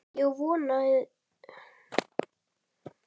Ég vonaði það.